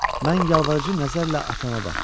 Mən yalvarıcı nəzərlə atama baxdım.